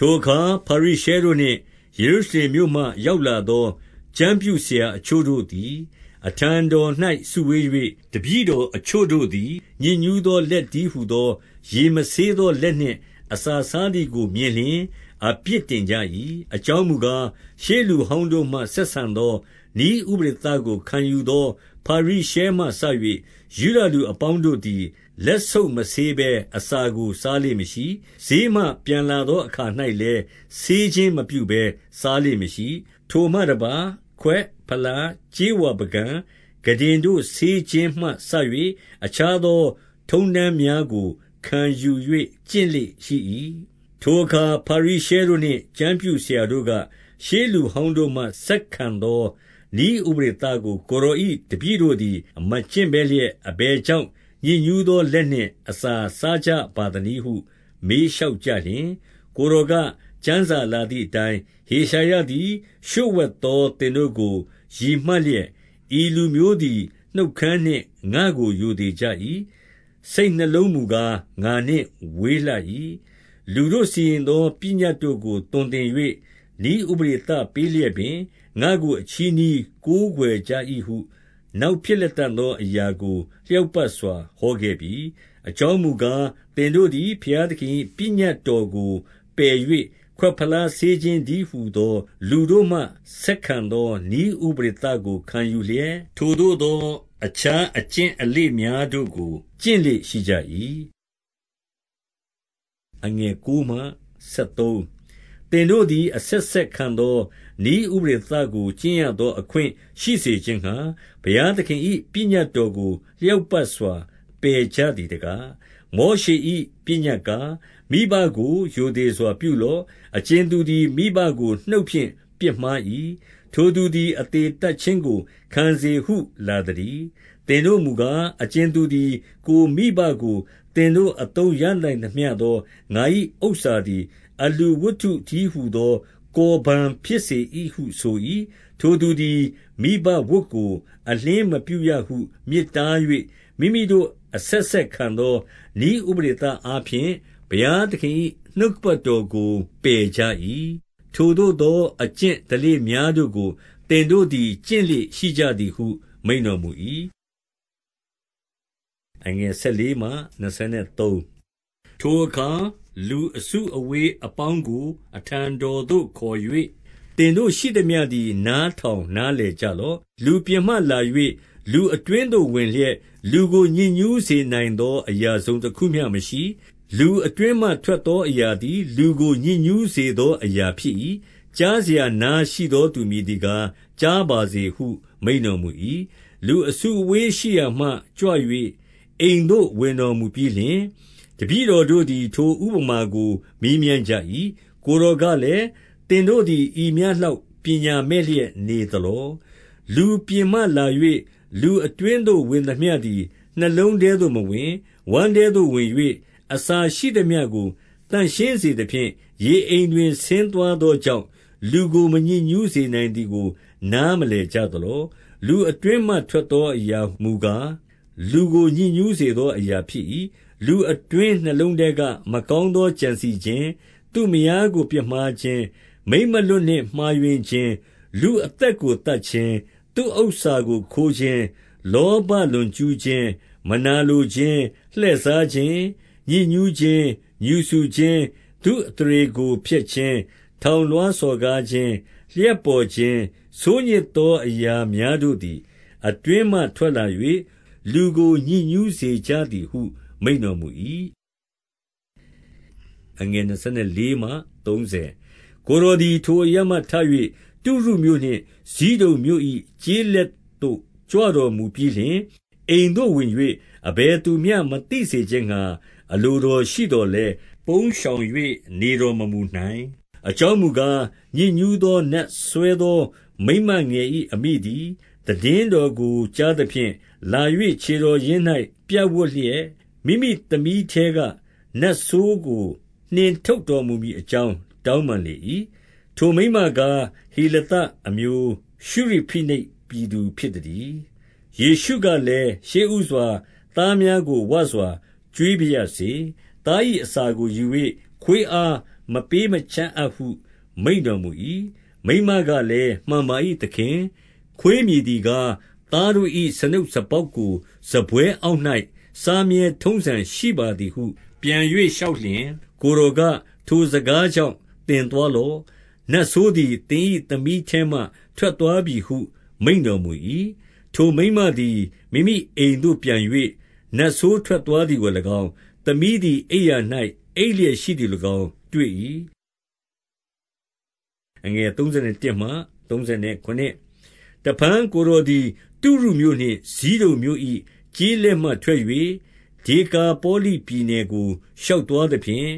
ထိုအခါ ဖာရိရှဲတို့နှင့် ယေရုရှလင်မြို့မှရောက်လာသော ကျမ်းပြုဆရာအချို့တို့သည် အထံတော်၌ စု ဝေး၍၊ 2 တပည့်တော်အချို့တို့သည် ညစ်ညူးသောလက်တည်းဟူသော ရေမဆေးသောလက်နှင့် အစာစား သည်ကိုမြင်လျှင် အပြစ်တင်ကြ၏။ 3 အကြောင်းမူကား၊ ရှေးလူဟောင်းတို့မှ ဆက်ဆံသော နည်းဥပဒေသကိုခံယူသော ဖာရိရှဲမှစ၍ ယုဒလူ အပေါင်းတို့သည် လက်ဆုပ်မဆေးဘဲ အစာကို စားလေ့မရှိ။ 4 ဈေးမှ ပြန်လာသောအခါ၌လည်း ဆေးခြင်းမပြုဘဲစားလေ့မရှိ။ ထိုမှတပါး၊ ခွက်၊ ဖလား၊ ကြေးဝါ ပုကန်၊ ခုတင်တို့ ဆေးခြင်းမှစ၍ အခြားသောထုံးတမ်းများကို ခံယူ၍ ကျင့်လေ့ရှိ၏။ 5 ထိုအခါ ဖာရိရှဲတို့နှင့် ကျမ်းပြုဆရာတို့က၊ ရှေးလူဟောင်းတို့မှ ဆက်ခံသောနည်းဥပဒေသကို ကိုယ်တော်၏ တပည့်တို့သည် မကျင့်ဘဲလျက် အဘယ်ကြောင့် ညစ်ညူးသောလက်နှင့် အစာစားကြပါသနည်း ဟု မေးလျှောက်ကြလျှင်၊ ကိုယ်တော်က၊ ကျမ်းစာလာသည်အတိုင်း၊ 6 ဟေရှာယသည် လျှို့ဝှက်သော သင်တို့ကိုရည်မှတ်လျက်၊ ဤလူမျိုးသည် နှုတ်ခမ်းနှင့်ငါ့ကို ရိုသေ ကြ၏။ စိတ်နှလုံးမူကား ငါနှင့်ဝေးလှ၏။ 7 လူတို့စီရင်သော ပညတ်တို့ကို သွန်သင်၍ နည်းဥပဒေပေးလျက်ပင်၊ ငါ့ကို အချည်းနှီးကိုးကွယ် ကြ၏ဟု၊ နောက်ဖြစ်လတံ့သောအရာကို လျောက်ပတ်စွာ ဟောခဲ့ပြီ။ 8 အကြောင်းမူကား၊ သင်တို့သည် ဘုရားသခင်၏ ပညတ်တော်ကို ပယ်၍ ခွက်ဖလားဆေးခြင်းတည်းဟူ သော လူတို့မှ ဆက်ခံသောနည်းဥပဒေသကို ခံယူလျှက်၊ ထိုသို့သော အခြားအကျင့်အလေ့များတို့ကို ကျင့်လေ့ ရှိကြ၏။ 9 သင်တို့သည် အဆက်ဆက်ခံသော နည်းဥပဒေသကိုကျင့်ရသော အခွင့်ရှိစေခြင်းငှါ၊ ဘုရားသခင်၏ ပညတ်တော်ကို လျောက်ပတ်စွာ ပယ်ကြသည်တကား။ 10 မောရှေ၏ ပညတ်ကား၊ မိဘကို ရိုသေစွာပြုလော့။ အကြင်သူသည် မိဘကို နှုတ်ဖြင့်ပြစ်မှား၏၊ ထိုသူ သည် အသေသတ်ခြင်းကို ခံစေဟု လာသတည်း။ 11 သင်တို့မူကား၊ အကြင်သူသည် ကိုယ်မိဘကို သင်တို့အသုံးရနိုင်သမျှသော ငါ၏ဥစ္စာသည် အလှူဝတ္ထု တည်းဟူသော ကော်ဘန်ဖြစ်စေဟုဆို၏။ 12 ထိုသူသည် မိဘဝတ်ကို အလျှင်းမပြုရဟု မြစ်တား၍၊ 13 မိမိတို့အဆက်ဆက်ခံသော နည်းဥပဒေသအားဖြင့် ဘုရားသခင်၏ နှုတ်ကပတ်တော်ကိုပယ်ကြ၏။ ထိုသို့သောအကျင့်အလေ့များတို့ကို သင်တို့သည် ကျင့်လေ့ရှိကြသည်ဟု မိန့်တော်မူ၏။ 14 ထိုအခါ လူအစုအဝေးအပေါင်းကို အထံတော်သို့ခေါ်၍၊ သင်တို့ရှိသမျှသည် နားထောင်နားလည်ကြ လော့။ 15 လူပြင်မှလာ၍ လူအတွင်းသို့ဝင်လျက်၊ လူကိုညစ်ညူးစေနိုင်သော အရာတစုံတခုမျှမရှိ။ လူအတွင်းမှ ထွက်သောအရာသည် လူကို ညစ်ညူးစေသောအရာဖြစ်၏။ 16 ကြားစရာနားရှိသော သူမည်သည်ကား ကြားပါစေဟု မိန့်တော်မူ၏။ 17 လူအစုအဝေးရှိရာမှ ကြွ၍ အိမ်သို့ ဝင်တော်မူပြီးလျှင်၊ တပည့်တော်တို့သည် ထိုဥပမာကို မေးမြန်းကြ ၏။ 18 ကိုယ်တော်ကလည်း၊ သင်တို့သည် ဤမျှလောက် ပညာမဲ့လျက်နေသလော။ လူပြင်မှလာ၍ လူအတွင်း သို့ ဝင်သမျှသည် နှလုံးထဲသို့မဝင်။ 19 ဝမ်းထဲသို့ဝင်၍ အစာရှိသမျှကို သန့်ရှင်းစေသဖြင့် ရေအိမ်တွင် ဆင်းသွားသောကြောင့်၊ လူကို မညစ် ညူးစေနိုင်သည်ကို နားမလည်ကြသလော။ 20 လူအတွင်းမှထွက်သော အရာမူကား၊ လူကို ညစ်ညူးစေသောအရာဖြစ်၏။ 21 လူအတွင်းနှလုံးထဲက မကောင်းသော ကြံစည်ခြင်း၊ သူမယားကို ပြစ်မှားခြင်း၊ မိန်းမလွတ်နှင့် မှားယွင်း ခြင်း၊ လူအသက်ကို သတ်ခြင်း၊ 22 သူ့ဥစ္စာကို ခိုးခြင်း၊ လောဘလွန်ကျူးခြင်း၊ မနာလိုခြင်း၊ လှည့်စားခြင်း၊ ညစ်ညူးခြင်း၊ ငြူစုခြင်း၊ သူ့ အသရေကို ဖျက်ခြင်း၊ ထောင်လွှားစော်ကားခြင်း၊ လျှပ်ပေါ်ခြင်း၊ 23 ဤဆိုးညစ်သောအရာများတို့သည် အတွင်းမှထွက်လာ၍ လူကို ညစ်ညူးစေကြသည်ဟု မိန့်တော်မူ၏။ 24 ကိုယ်တော်သည် ထိုအရပ်မှထ၍ တုရုမြို့နှင့် ဖိဒုန်မြို့၏ ကျေးလက်သို့ ကြွတော်မူပြီးလျှင် အိမ်သို့ ဝင်၍ အဘယ်သူမျှ မသိစေခြင်းငှါ အလိုတော်ရှိသော်လည်း ပုန်းရှောင်၍ နေတော်မမူနိုင်။ 25 အကြောင်းမူကား၊ ညစ်ညူးသောနတ်စွဲသော မိန်းမငယ်၏ အမိသည် သိတင်းတော်ကို ကြားသဖြင့်၊ 26 မိမိသမီးထဲက နတ်ဆိုးကို နှင်ထုတ်တော်မူမည်အကြောင်း တောင်းပန်လေ၏။ ထိုမိန်းမကား၊ ဟေလသအမျိုး၊ ရှုရိဖိနိတ်ပြည်သူ ဖြစ်သတည်း။ 27 ယေရှုကလည်း၊ ရှေးဦးစွာ သားများကို ဝစွာကျွေးပါရစေ။ သား၏ အစာကို ယူ၍ ခွေးအားမပေး မချ အပ်ဟု မိန့်တော်မူ၏။ 28 မိန်းမကလည်း မှန်ပါ၏သခင်။ ခွေးမည်သည်ကား၊ သားတို့၏ စားနုပ်စားပေါက်ကို စားပွဲအောက်၌ စားမြဲထုံးစံရှိပါသည်ဟု ပြန်၍ လျှောက်လျှင်၊ 29 ကိုယ်တော်က၊ ထိုစကားကြောင့် သင်သွားလော့။ နတ်ဆိုးသည် သင်၏သမီးထဲမှ ထွက်သွားပြီဟု မိန့် တော်မူ၏။ 30 ထိုမိန်းမသည် မိမိအိမ်သို့ပြန်၍ နတ်ဆိုးထွက်သွားသည်ကို၎င်း၊ သမီးသည် အိပ်ရာ၌ အိပ်လျက် ရှိသည်ကို၎င်း တွေ့၏။ 31 တဖန် ကိုယ်တော်သည် တုရုမြို့နှင့် ဇိဒုန်မြို့၏ ကျေးလက်မှထွက်၍ ဒေကာပေါလိပြည်နယ်ကို ရှောက်သွားသဖြင့်၊